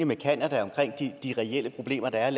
med canada om de reelle problemer der er